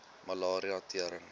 malaria tering